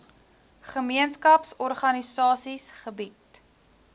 gemeenskaps organisasies gebied